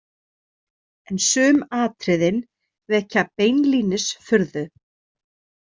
En sum atriðin vekja beinlínis furðu.